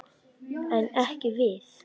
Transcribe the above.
En ekki við.